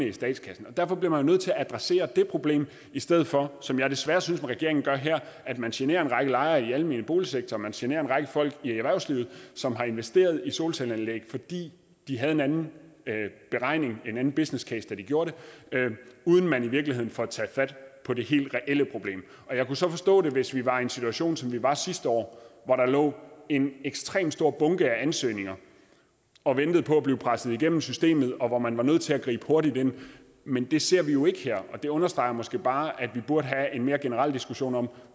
i statskassen derfor bliver man nødt til at adressere det problem i stedet for som jeg desværre synes regeringen gør her at man generer en række lejere i den almene boligsektor man generer en række folk i erhvervslivet som har investeret i solcelleanlæg fordi de havde en anden beregning en anden business case da de gjorde det og uden at man i virkeligheden får taget fat på det helt reelle problem jeg kunne så forstå det hvis vi var i en situation som vi var i sidste år hvor der lå en ekstremt stor bunke af ansøgninger og ventede på at blive presset igennem systemet og hvor man var nødt til at gribe hurtigt ind men det ser vi jo ikke her det understreger måske bare at vi burde have en mere generel diskussion om